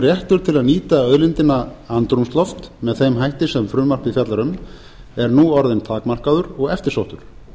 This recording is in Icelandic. réttur til að nýta auðlindina andrúmsloft með þeim hætti sem frumvarpið fjallar um er nú orðinn takmarkaður og eftirsóttur